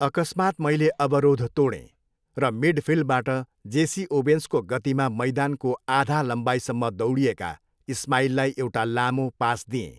अकस्मात् मैल अवरोध तोडेँ र मिडफिल्डबाट जेसी ओवेन्सको गतिमा मैदानको आधा लम्बाइसम्म दौडिएका इस्माइललाई एउटा लामो पास दिएँ।